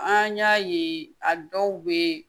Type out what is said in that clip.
An y'a ye a dɔw bɛ